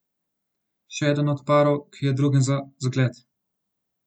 Še eden od parov, ki je drugim za zgled.